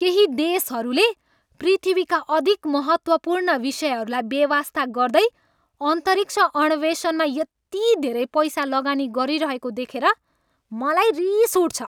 केही देशहरूले पृथ्वीका अधिक महत्त्वपूर्ण विषयहरूलाई बेवास्ता गर्दै अन्तरिक्ष अन्वेषणमा यति धेरै पैसा लगानी गरिरहेको देखेर मलाई रिस उठ्छ।